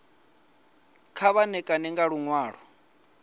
kha vha ṋekane nga luṅwalo